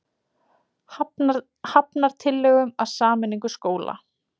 Hafnar tillögum að sameiningu skóla